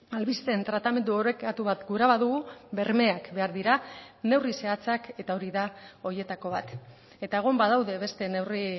albisteen tratamendu orekatu bat gura badugu bermeak behar dira neurri zehatzak eta hori da horietako bat eta egon badaude beste neurri